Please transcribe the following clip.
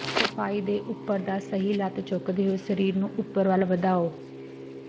ਸਫਾਈ ਦੇ ਉੱਪਰ ਦਾ ਸਹੀ ਲੱਤ ਚੁੱਕਦੇ ਹੋਏ ਸਰੀਰ ਨੂੰ ਉੱਪਰ ਵੱਲ ਵਧਾਉ